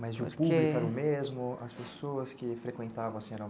Mas o público era o mesmo, as pessoas que frequentavam, assim, eram...